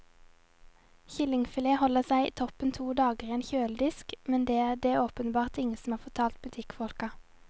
Kyllingfilet holder seg toppen to dager i en kjøledisk, men det er det åpenbart ingen som har fortalt butikkfolka.